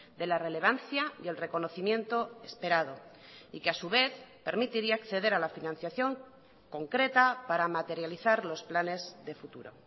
de la relevancia y el reconocimiento esperado y que a su vez permitiría acceder a la financiación concreta para materializar los planes de futuro